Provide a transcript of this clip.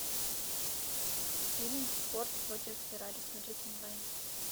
фильм форд против феррари смотреть онлайн